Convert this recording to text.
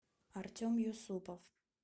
артем юсупов